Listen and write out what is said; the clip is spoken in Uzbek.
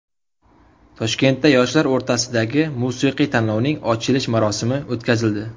Toshkentda yoshlar o‘rtasidagi musiqiy tanlovning ochilish marosimi o‘tkazildi.